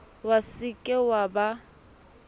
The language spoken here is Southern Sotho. wa se ke wa ba